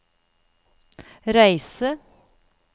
reise